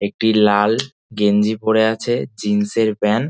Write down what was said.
একটি লাল গেঞ্জি পরে আছে জিন্সের -এর প্যান্ট ।